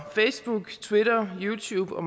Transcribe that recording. facebook twitter youtube og